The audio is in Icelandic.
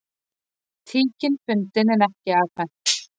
Tíkin fundin en ekki afhent